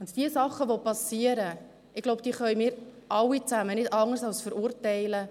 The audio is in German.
Die Dinge, die passieren, diese können wir, so glaube ich, alle zusammen nicht anders als verurteilen.